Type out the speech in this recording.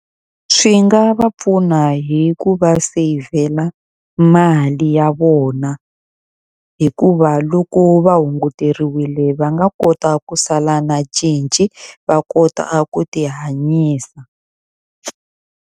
Swi nga va pfuna hi ku va seyivhela mali ya vona. Hikuva loko va hunguteriwile va nga kota ku sala na cinci va kota ku ti hanyisa.